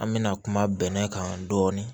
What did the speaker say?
An bɛna kuma bɛnɛ kan dɔɔnin